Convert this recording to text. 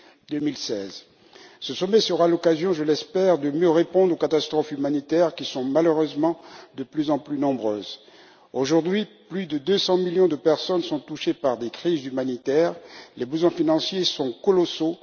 2016. Ce sommet sera l'occasion, je l'espère, de mieux répondre aux catastrophes humanitaires, qui sont malheureusement de plus en plus nombreuses. Aujourd'hui, plus de 200 millions de personnes sont touchées par des crises humanitaires. Les besoins financiers sont colossaux.